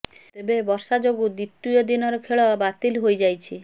ତେବେ ବର୍ଷା ଯୋଗୁଁ ଦ୍ୱିତୀୟ ଦିନର ଖେଳ ବାତିଲ ହୋଇଯାଇଛି